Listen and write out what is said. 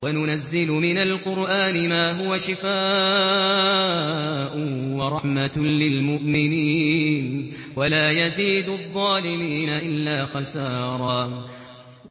وَنُنَزِّلُ مِنَ الْقُرْآنِ مَا هُوَ شِفَاءٌ وَرَحْمَةٌ لِّلْمُؤْمِنِينَ ۙ وَلَا يَزِيدُ الظَّالِمِينَ إِلَّا خَسَارًا